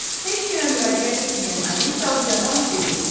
Heç kimə müraciət etməyən Alisa ucadan dedi.